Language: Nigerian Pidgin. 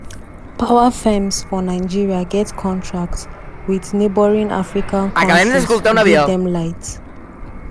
power firms for nigeria get contracts wit neighbouring african kontris to give dem light.